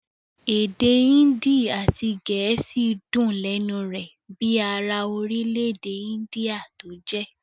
Èdè índì àti gẹ̀ẹ́sì dùn lẹ́nu rẹ̀ bíi ara orílẹ-èdè índíà tó jẹ́.